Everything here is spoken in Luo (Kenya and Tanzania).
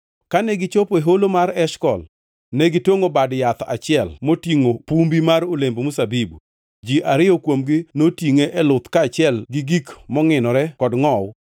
Kane gichopo e Holo mar Eshkol, ne gitongʼo bad yath achiel motingʼo pumbi mar olemb mzabibu. Ji ariyo kuomgi notingʼe e luth kaachiel gi gik mongʼinore kod ngʼowu.